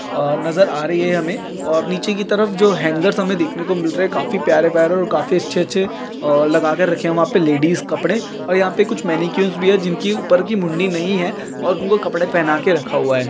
अ नज़र आ रही है हमें और नीचे कि तरफ जो हेन्गेर्स हमें देखने को मिल रहे हैं काफी प्यारे प्यारे और काफी अच्छे अच्छे अ लगा कर रखे वहां पे लेडीज कपडे और यहाँ पर कुछ भी है जिनकी ऊपर की मुंडी नहीं है और उनको कपड़े पहना कर रखा हुआ है।